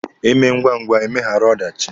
Emee ngwangwa emeghara ọdachị.